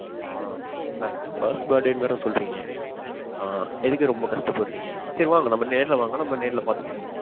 ஆ. mam. First birthday னு வேற சொல்றீங்க. ஆ எதுக்கு ரொம்ப கஷ்டபடுறீங்க? சரி வாங்க நம்ம நேர்ல வாங்க நம்ம நேர்ல பாத்து பேசிக்குவோம்.